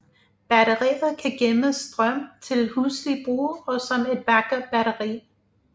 Batteriet kan gemme strøm til huslig brug og som et backup batteri